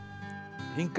hingað í